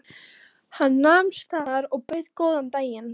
Hann nam staðar og bauð góðan dag.